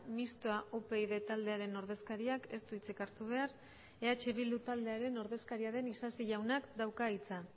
mistoa upyd taldearen ordezkariak ez du hitzik hartu behar eh bildu taldearen ordezkaria den isasi jaunak dauka hitza